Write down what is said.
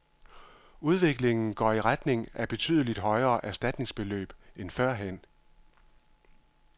Udviklingen går i retning af betydeligt højere erstatningsbeløb end førhen.